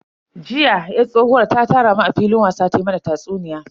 Jiya yar tsohuwar ta tara mu a filin wasa ta mana tatsuniya.